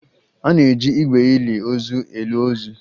A na-eji igbe ili ozu eli ozu